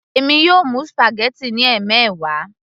èmi yóò mú spaghetti ní ẹmẹwa